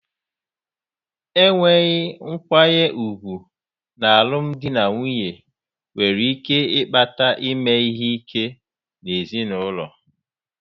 Enweghị nkwanye ùgwù n'alụmdi na nwunye nwere ike ịkpata ime ihe ike n'ezinụlọ.